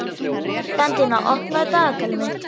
Bentína, opnaðu dagatalið mitt.